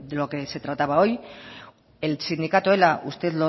lo que se trataba hoy el sindicato ela usted